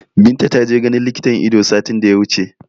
Binta ta je ganin likitan Ido satin da ya wuce